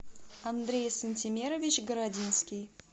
андрей сантимерович городинский